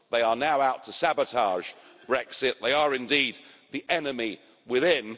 They are now out to sabotage Brexit. They are indeed the enemy within.